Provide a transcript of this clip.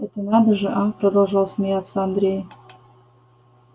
это надо же а продолжал смеяться андрей